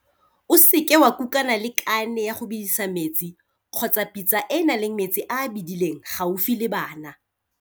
O seke wa kukana le kane ya go bedisa metsi kgotsa pitsa e e nang le metsi a a bedileng gaufi le bana.